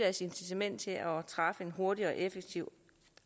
incitament til at træffe en hurtigere og effektiv